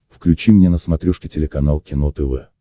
включи мне на смотрешке телеканал кино тв